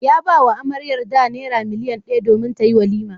Ya ba wa amaryarda naira miliyan daya domin tayi walima.